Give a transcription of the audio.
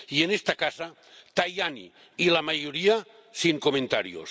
Y, en esta casa, Tajani y la mayoría, sin comentarios.